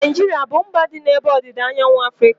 Naijiria abụ mba dị n'ebe ọdịda anyanwụ Afrịka?